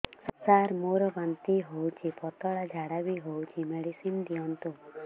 ସାର ମୋର ବାନ୍ତି ହଉଚି ପତଲା ଝାଡା ବି ହଉଚି ମେଡିସିନ ଦିଅନ୍ତୁ